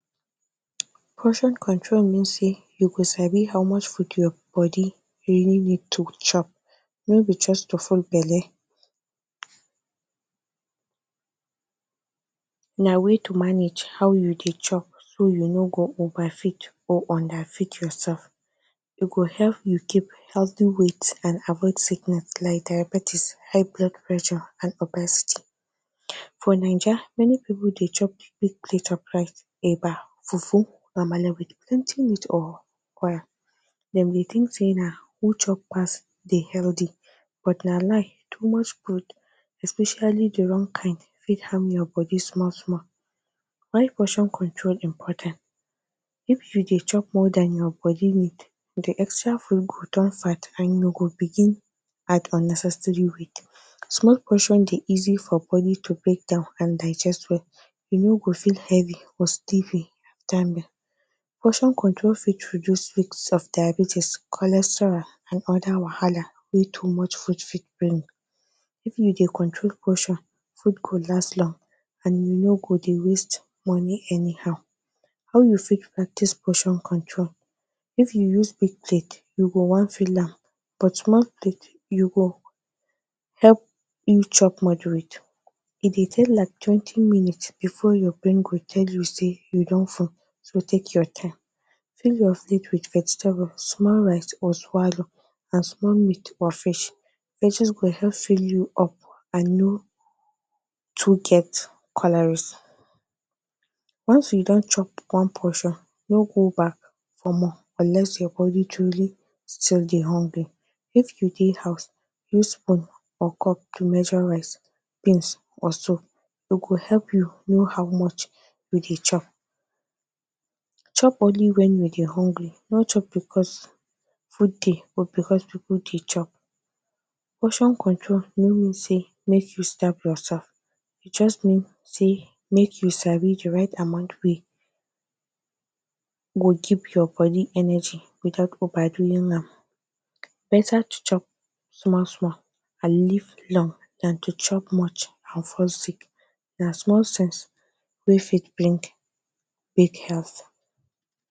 Transcription - Portion Control Portion Control Portion control means say you go sabi how much food your body really need to chop. No be just to full belle — na when to manage so you no go go overfeed or underfeed yourself. E go help you keep healthy weight and avoid sickness like diabetes, high blood pressure, and obesity. For Naija, many people dey chop big plate of rice, eba, fufu, amala, with plenty meat or oil. Dem dey think say na who chop pass dey healthy — but na lie. Too much food, especially the wrong kind, fit harm your body. Why Portion Control Dey Important If you dey chop more than your body need, the extra food go turn body fat, and you go begin dey add unnecessary weight. Small portion dey easy for body to break down and digest well. You no go feel heavy or stiffy. Portion control fit reduce risk of diabetes, cholesterol, and other wahala wey too much food fit bring. If you dey control portion, food go last long and you no go dey waste money anyhow. How You Fit Practice Portion Control If you use big plate, you go wan fill am up — but small plate go help you chop moderate. E dey take like twenty minutes before your brain go tell you say you don full, so take your time. Full your plate with vegetable, small rice or swallow, and small meat or fish. Veggies go help fill you up and e no too get calories. Once you don chop one portion, no go back for more unless say your body truly dey hungry. If you dey house, use cup or spoon to measure rice, beans or so. E go help you know how much you dey chop. Chop only when you dey hungry — no be because food dey or because people dey chop. Portion control no mean say make you starve yourself — e just mean say make you sabi the right amount wey go give your body energy without overdoing am. E better to chop small small and live long, than to chop much and fall sick. Na small sense wey fit bring big health.